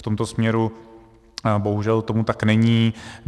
V tomto směru bohužel tomu tak není.